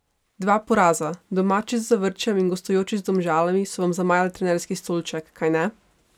Dva poraza, domači z Zavrčem in gostujoči z Domžalami, so vam zamajali trenerski stolček, kajne?